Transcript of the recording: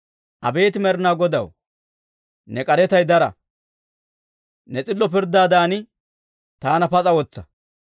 Abeet Med'inaa Godaw, ne k'aretay dara; ne s'illo pirddaadan taana pas'a wotsa.